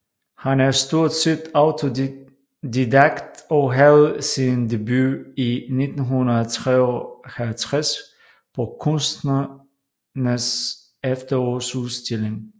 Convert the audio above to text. Han er stort set autodidakt og havde sin debut i 1953 på Kunstnernes Efterårsudstilling